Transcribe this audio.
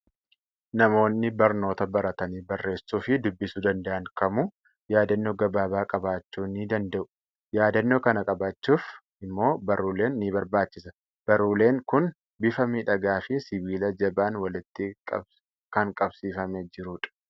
Namoonni barnoota baratanii barreessuu fi dubbisuu danda'an kamuu yaadannoo gabaabaa qabachuu ni danda'u. Yaadannoo kana qabachuuf immoo baruuleen ni barbaaachisa. Baruuleen kun bifa miidhagaa fi sibiila jabaan walitti kan qabsiifamee jirudha.